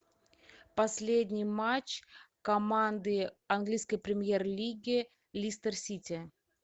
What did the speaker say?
последний матч команды английской премьер лиги лестер сити